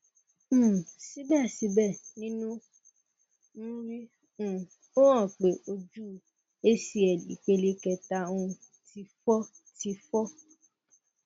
um sibẹsibẹ ninu mri um o han pe oju acl ipele keta um ti fọ ti fọ